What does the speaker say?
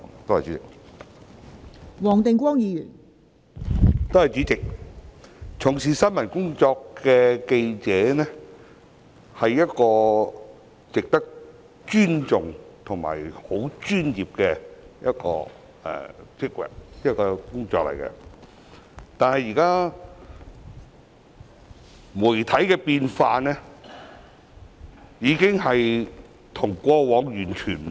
代理主席，從事新聞工作的記者值得尊重，也是專業的工作，但現時的媒體有所改變，跟過往完全不同。